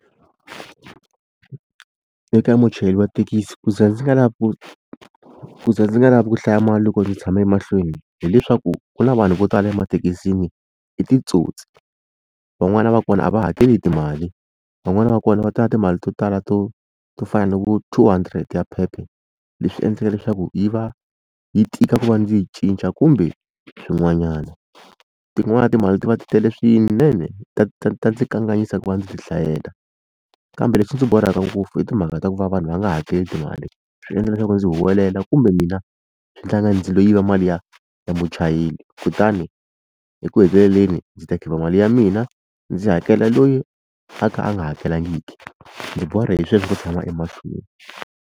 Eka muchayeri wa thekisi ku za ndzi nga lavi ku ku za ndzi nga lava ku hlaya mali loko ndzi tshama emahlweni hileswaku ku na vanhu vo tala emathekisini i titsotsi van'wana va kona a va hakeli timali van'wana va kona va ta na timali to tala to to fana na ku two hundred ya phepha leswi endlaka leswaku yi va yi tika ku va ndzi yi cinca kumbe swin'wanyana. Tin'wana timali ti va ti tele swinene ta ta ta ndzi kanganyisa ku va ndzi ti hlayela kambe lexi ndzi borhaka ngopfu i timhaka ta ku va vanhu va nga hakeli mali swi endla leswaku ndzi huwelela kumbe mina swi endla nga ku ndzi lo yiva mali ya ya muchayeri kutani eku heteleleni ndzi ta khipa mali ya mina ndzi hakela loyi a kha a nga hakelangiki ndzi borha hi sweswo ku tshama emahlweni.